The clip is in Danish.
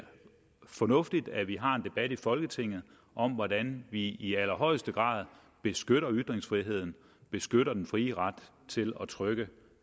fornuftigt at vi har en debat i folketinget om hvordan vi i allerhøjeste grad beskytter ytringsfriheden beskytter den frie ret til at trykke